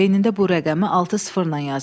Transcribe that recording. Beynində bu rəqəmi altı sıfırla yazır.